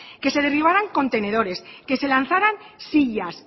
que se derribaran contenedores que se lanzaran sillas